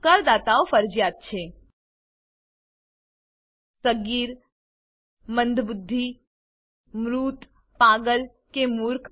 કરદાતાઓ ફરજીયાત છે સગીર મંદબુદ્ધિ મૃત પાગલ કે મૂર્ખ